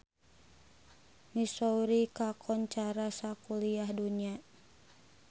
Missouri kakoncara sakuliah dunya